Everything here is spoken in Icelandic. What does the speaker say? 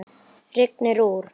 Ég dufla ennþá við lygina.